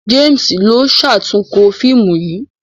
James ló ṣatunkọ fíìmù yí.